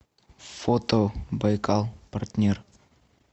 фото байкал партнер